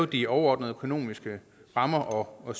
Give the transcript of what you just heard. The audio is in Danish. de overordnede økonomiske rammer og